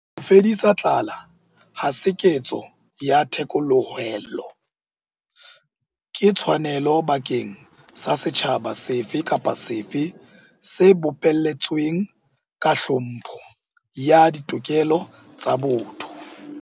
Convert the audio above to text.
Ho fedisa tlala ha se ketso ya thekolohelo. Ke tshwanelo bakeng sa setjhaba sefe kapa sefe se bopelletsweng ka tlhompho ya ditokelo tsa botho.